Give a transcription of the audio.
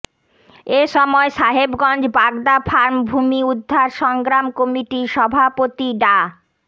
এ সময় সাহেবগঞ্জ বাগদা ফার্ম ভূমি উদ্ধার সংগ্রাম কমিটির সভাপতি ডা